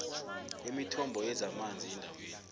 kwemithombo yezamanzi endaweni